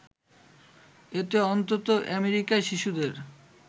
এতে অন্তত আমেরিকায় শিশুদের